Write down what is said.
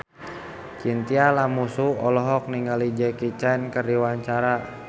Chintya Lamusu olohok ningali Jackie Chan keur diwawancara